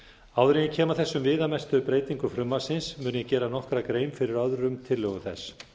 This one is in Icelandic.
áður en ég kem að þessum viðamestu breytingum frumvarpsins mun ég gera nokkra grein fyrir öðrum tillögum þess